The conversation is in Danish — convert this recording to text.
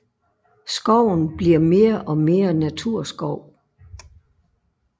Skoven bliver mere og mere naturskov